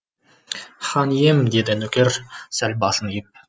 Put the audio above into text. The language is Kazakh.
хан ием деді нөкер сәл басын иіп